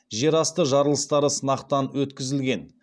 жерасты жарылыстары сынақтан өткізілген